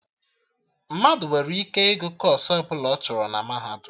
Mmadụ nwere ike ịgụ kọọsụ ọbụla ọ chọrọ na Mahadum